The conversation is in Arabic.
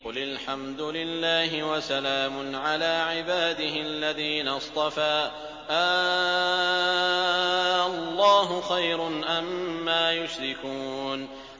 قُلِ الْحَمْدُ لِلَّهِ وَسَلَامٌ عَلَىٰ عِبَادِهِ الَّذِينَ اصْطَفَىٰ ۗ آللَّهُ خَيْرٌ أَمَّا يُشْرِكُونَ